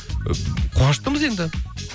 ы қуаныштымыз енді